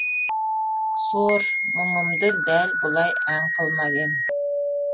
сор мұңымды дәл бұлай ән қылмап ем